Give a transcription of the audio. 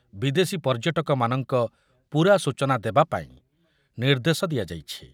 ବିଦେଶୀ ପର୍ଯ୍ୟଟକମାନଙ୍କ ପୂରା ସୂଚନା ଦେବା ପାଇଁ ନିର୍ଦ୍ଦେଶ ଦିଆଯାଇଛି ।